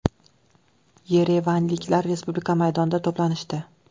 Yerevanliklar Respublika maydonida to‘planishdi.